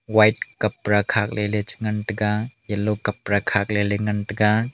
white kapra khat ley che ngan taiga yellow kapra khat ley ngan taiga.